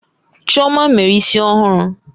Chioma mere isi ọhụrụ